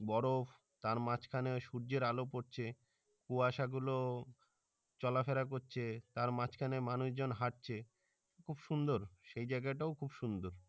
বরফ তার মাঝখানে ওই সূর্যের আলো পরছে কুয়াশা গুলো চলাফেরা করছে তার মাঝখানে মানুষজন হাঁটছে খুব সুন্দর সেই জায়গাটাও খুব সুন্দর